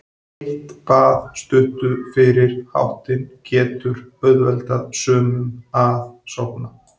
Heitt bað stuttu fyrir háttinn getur auðveldað sumum að sofna.